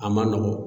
A man nɔgɔn